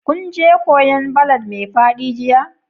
Kun je kwoyan ballad mai fadi jiya?